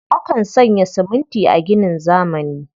Akan sanya siminti a ginin zamani.